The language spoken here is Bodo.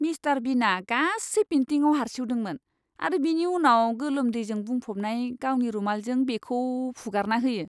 मिस्टार बिनआ गासै पेन्टिंआव हारसिउदोंमोन आरो बेनि उनाव गोलोमदैजों बुंफबनाय गावनि रुमालजों बेखौ फुगारना होयो।